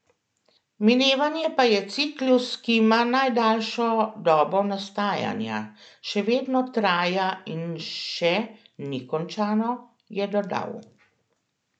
Minevanje pa je ciklus, ki ima najdaljšo dobo nastajanja, še vedno traja in še ni končano, je dodal.